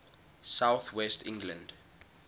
south west england